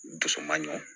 Dusu man ɲi